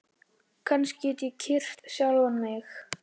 Kannski get ég kyrkt sjálfan mig?